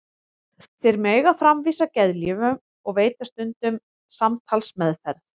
Þeir mega framvísa geðlyfjum og veita stundum samtalsmeðferð.